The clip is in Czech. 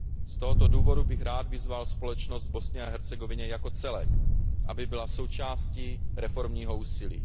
Z tohoto důvodu bych rád vyzval společnost v Bosně a Hercegovině jako celek, aby byla součástí reformního úsilí.